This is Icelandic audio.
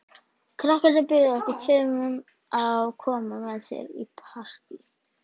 Krakkarnir buðu okkur tveimur að koma með sér í partí.